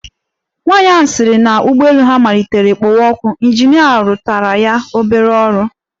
Nwaanyị ahụ sịrị na ụgbọelu ha matlitere kpowe ọkụ, ịnjinịa rụtụrụ ya obere ọrụ.